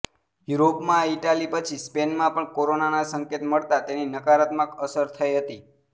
યુરોપમાં ઇટાલી પછી સ્પેનમાં પણ કોરોનાના સંકેત મળતા તેની નકારાત્મક અસર થઈ હતી